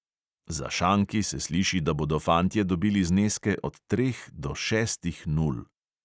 Za šanki se sliši, da bodo fantje dobili zneske od treh do šestih nul ...